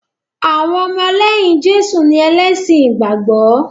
Àwọn ọmọlẹ́yìn Jésù ni ẹlẹ́sìn ìgbàgbọ́